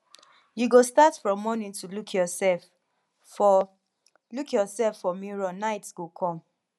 you go start from morning to look yourself for look yourself for mirror night go come